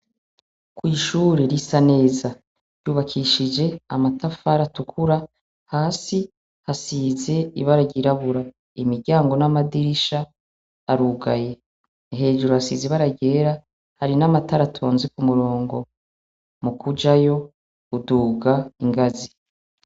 Kw’ishuri risa neza ryubakishije amatafara atukura hasi hasize ibara ryirabura, imiryango n'amadirisha arugaye, hejuru hasize ibaragera hari n'amataratonzi ku murongo mu kujayo uduga ingazi.